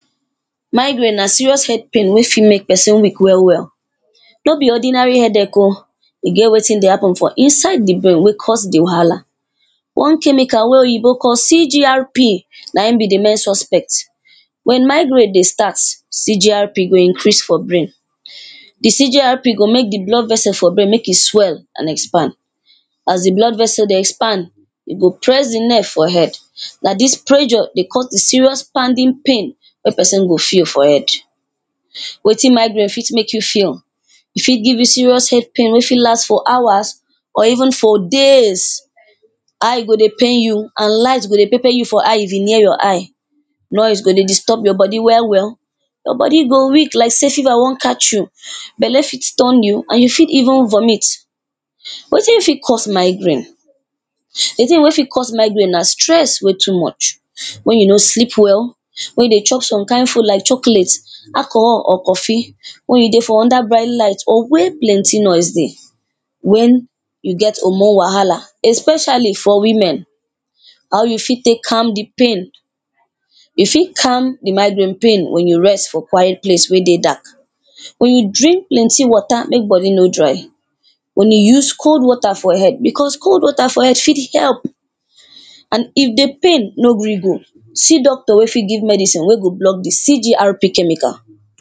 Migraine na serious head pain wey fit make person weak well well. No be ordinary headache o, e get wetin dey happen for inside inside di brain wey cause di wahala. One chemical wey Oyibo call CGRP, na im be di main suspect. When migraine dey start, CGRP go increase for brain. The CGRP go make di blood vessel for brain make e swell and expand. As di blood vessel dey expand, e go press the neck for head. Na dis pressure dey cause serious pounding pain wey person dey feel for head. Wetin migraine fit make you feel, e fit give you serious head pain wey fit last for hours or even for days. Eye go dey pain you and light go dey pepper you for eye if e near your eye. Noise go dey disturb your body well well. Your body go weak like say fever wan catch you. Belle fit turn you and you fit even vomit. Wetin fit cause migraine? The tin wey fit cause migraine na stress wey too much. When you no sleep well, when you dey chop some kind food like chocolate, alcohol or coffee. When you dey for under bright light or where plenty noise dey. When you get hormone wahala, especially for women. How you fit take calm the pain? You fit calm the migraine pain when you rest for quiet place wey dey dark. When you drink plenty water, make body no dry. When you use cold water for head because cold water for head fit help. And if the pain no gree go, see doctor wey fit give medicine wey go block di CGRP chemical.